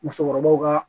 Musokɔrɔbaw ka